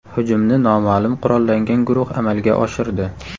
Hujumni noma’lum qurollangan guruh amalga oshirdi.